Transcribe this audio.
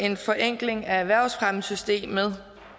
en forenkling af erhvervsfremmesystemet